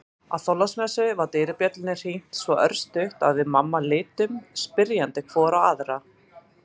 Á Þorláksmessu var dyrabjöllunni hringt svo örstutt að við mamma litum spyrjandi hvor á aðra.